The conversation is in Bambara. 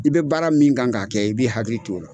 I be baara min kan k'a kɛ i bi hali t' o la